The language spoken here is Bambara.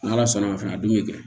N'ala sɔnn'a fɛ a dun bɛ kɛ